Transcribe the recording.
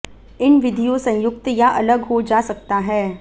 इन विधियों संयुक्त या अलग हो जा सकता है